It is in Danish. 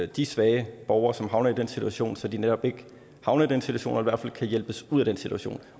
de svage borgere som havner i den situation så de netop ikke havner i den situation og i hvert fald kan hjælpes ud af den situation